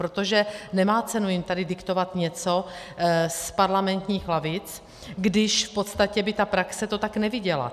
Protože nemá cenu jim tady diktovat něco z parlamentních lavic, když v podstatě by ta praxe to tak neviděla.